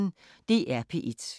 DR P1